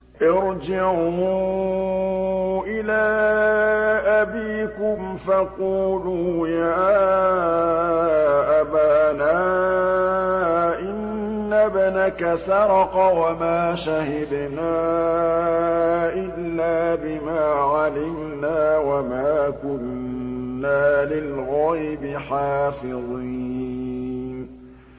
ارْجِعُوا إِلَىٰ أَبِيكُمْ فَقُولُوا يَا أَبَانَا إِنَّ ابْنَكَ سَرَقَ وَمَا شَهِدْنَا إِلَّا بِمَا عَلِمْنَا وَمَا كُنَّا لِلْغَيْبِ حَافِظِينَ